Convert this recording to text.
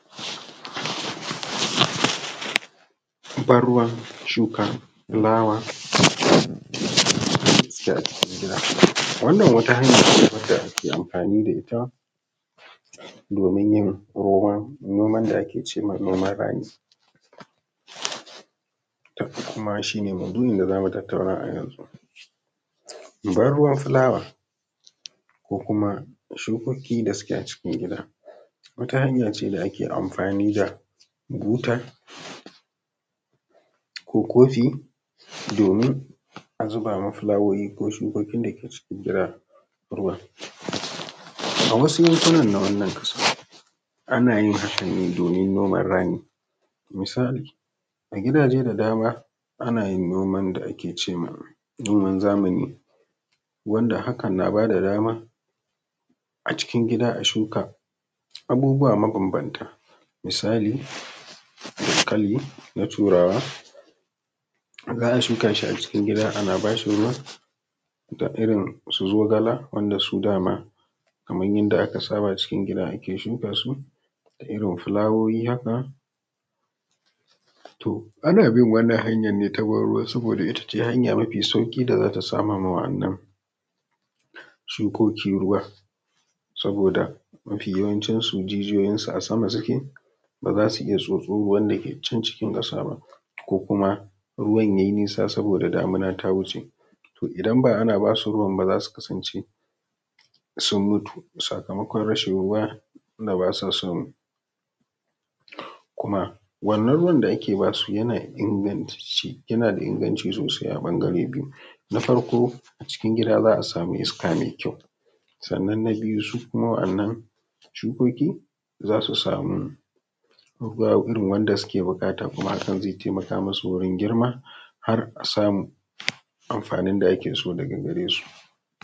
Ban ruwan shuka fulawa wacce take acikin gida. Wanna wata hanya cewadda ake amfani da ita domin yin noman da ake cema noman rani, kuma shi ne maudu’in da zamu tattauna a yanzu. Ban ruwan fulawa, kokuma shukoki da suke a cikin gida, wata hanyace da ake amfani da buta ko kofi domin a zuba ma folawoyi ko shukokin da ke cikin gida ruwa. A wasu lokutan anayin hakan ne domin noman rani, misali, a gidaje da dama ana yin noman da ake ma noman zamani, wanda hakan na bada dama acikin gida a shuka abubuwa mabanbanta, misali, dankali na turawa, za a shuka a cikin gida ana bashi ruwa da irin su zogala su dama kaman yadda aka saba cikin gida ake shuka su, irin fulawoyi haka, to ana bin wannan hanyan ne ta ban ruwa saboda itace hanya mafi sauƙi da zata sama ma waɗannan shukoki ruwa, saboda mafi yawancin su jijiyoyin su a sama suke, ba zasu iya tsotso ruwan da ke can cikin ƙasa ba, ko kuma ruwan yayi nisa saboda damina ta wuce, to idan ba ana basu ruwan ba, zasu kasance sun mutu, sakamakon rashin ruwa da basa samu, kuma wannan ruwan da ake basu yana da inganci sosai a ɓangare biyu, na farko acikin gida za a samu iska mai kyau, sannan na biyu su kuma wannan shukoki za su samu ruwa irin wanda suke buƙata, kuma hakan zai taimaka musu wurin girma, har a samu amfanin da ake so daga gare su.